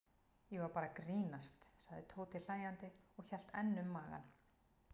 Ég var bara að grínast sagði Tóti hlæjandi og hélt enn um magann.